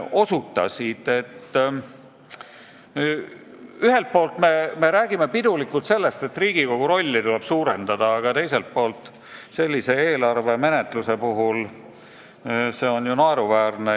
Ühelt poolt me räägime pidulikult sellest, et Riigikogu rolli tuleb suurendada, aga teiselt poolt on see niisuguse eelarve menetluse puhul naeruväärne.